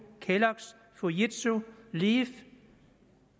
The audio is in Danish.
kelloggs fujitsu leaf